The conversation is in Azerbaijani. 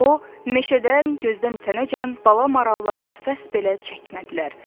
O, meşədən gözdən itənəcən bala marallar nəfəs belə çəkmədilər.